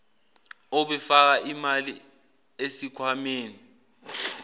obefaka imali esikhwameni